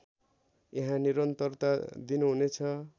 यहाँ निरन्तरता दिनुहुनेछ